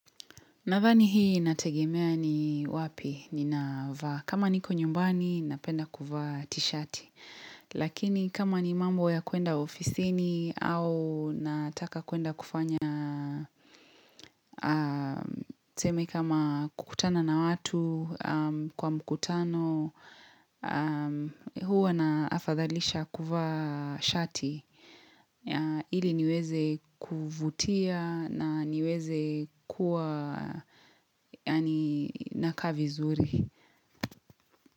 Nadhani hii inategemea ni wapi ninavaa. Kama niko nyumbani napenda kuvaa tishati. Lakini kama ni mambo ya kuenda ofisini au nataka kuenda kufanya tuseme kama kukutana na watu kwa mkutano huwa na afadhalisha kuvaa shati. Ili niweze kuvutia na niweze kuwa yaani nakaa vizuri.